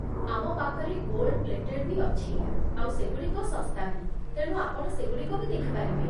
ଆମ ପାଖରେ gold plated ବି ଅଛି ଆଉ ସେଗୁଡ଼ିକ ଶସ୍ତା ବି, ତେଣୁ ଆପଣ ସେଗୁଡ଼ିକ ବି ଦେଖି ପାରିବେ ।